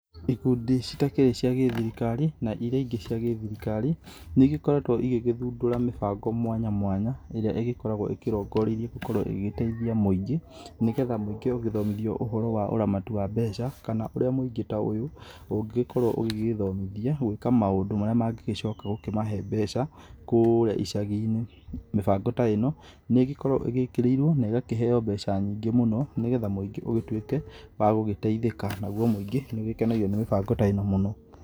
Ikundi citakĩrĩ cia gĩthirikari na iria ingĩ cia gĩthirikari, nĩ igĩkoretwo igĩgĩthundũra mĩbango mwanya mwanya ĩrĩa ĩgĩkoragwo ĩkĩrongoreirie gũkorwo ĩgĩteithia mũingĩ, nĩgetha mũingĩ ũgĩthomithio ũramati wa mbeca, kana ũrĩa mũingĩ ta ũyũ ũngĩkorwo ũgĩĩthomithia gwĩka maũndũ marĩa mangĩ mangĩgĩcoka kũmahe mbeca, kũrĩa icaginĩ. Mĩbango ta ĩno nĩ ĩgĩkoragwo ĩgĩkĩrĩirwo na igakĩheo mbeca nyingĩ mũno nĩ getha mũingĩ ũgĩtuĩke wa gũgĩteithĩka. Naguo mũingĩ nĩ ũgĩkenagio nĩ mĩbango ta ĩno mũno.